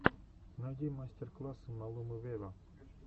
найди мастер классы малумы вево